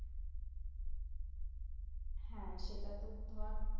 হ্যাঁ সেটা তো ধর